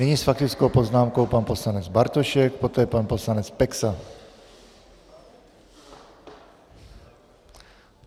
Nyní s faktickou poznámkou pan poslanec Bartošek, poté pan poslanec Peksa.